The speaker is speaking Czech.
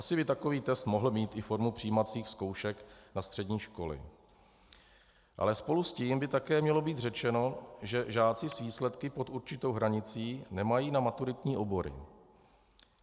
Asi by takový trest mohl mít i formu přijímacích zkoušek na střední školy, ale spolu s tím by také mělo být řečeno, že žáci s výsledky pod určitou hranicí nemají na maturitní obory.